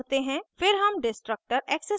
फिर हम destructor access करते हैं